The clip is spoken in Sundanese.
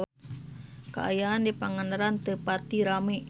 Kaayaan di Pangandaran teu pati rame